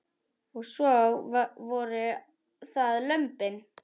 Og svo voru það lömbin.